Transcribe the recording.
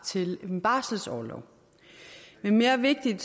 til en barselsorlov men mere vigtigt er